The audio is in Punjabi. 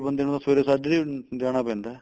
ਬੰਦੇ ਨੂੰ ਤਾਂ ਸਵੇਰੇ ਸਾਜਰੇ ਈ ਜਾਣਾ ਪੈਂਦਾ